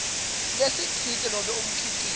lesitsite nobe umkhicito